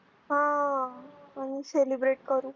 आह आनी Celebrate करू.